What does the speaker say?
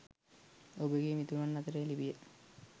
ඔබගේ මිතුරන් අතරේ ලිපිය